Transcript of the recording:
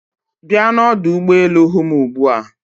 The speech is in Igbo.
Bịa n'ọdụ ụgbọ elu hụ m ugbu a